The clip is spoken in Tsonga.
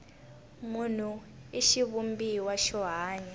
munhu i xivumbiwa xo hanya